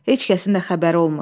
Heç kəsin də xəbəri olmur.